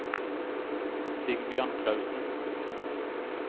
Sigbjørn Klausen